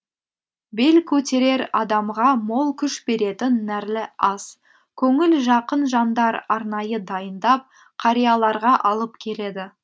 бел көтерер адамға мол күш беретін нәрлі ас көңіл жақын жандар арнайы дайындап қарияларға алып келеді